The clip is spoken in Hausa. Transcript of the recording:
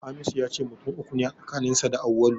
Hamisu ya ce mutum uku ne a tsakaninsa da Auwalu.